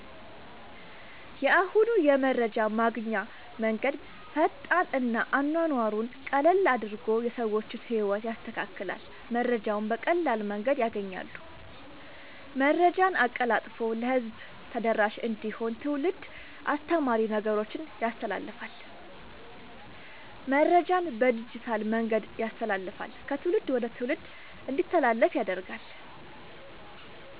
የአሁኑ የመረጃ ማግኛ መንገድ ፈጣን እና አኗኗሩን ቀለል አድርጎ የሰዎችን ህይወት ያስተካክላል መረጃውን በቀላል መንገድ ያገኛሉ። መረጃን አቀላጥፎ ለህዝብ ተደራሽ እንዲሆን ትውልድ አስተማሪ ነገሮችን ያስተላልፍል። መረጃን በዲጂታል መንገድ ያስተላልፍል ከትውልድ ወደ ትውልድ እንዲተላለፍ ያደርጋል…ተጨማሪ ይመልከቱ